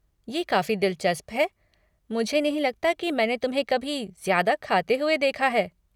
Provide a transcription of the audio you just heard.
ये काफ़ी दिलचस्प है, मुझे नहीं लगता कि मैंने तुम्हें कभी ज्यादा खाते हुए देखा है।